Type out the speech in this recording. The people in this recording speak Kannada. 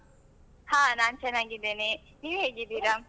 ಹಾ ನಾನ್ ಚೆನ್ನಾಗಿದ್ದೇನೆ, ನೀವು ಹೇಗಿದ್ದೀರಾ?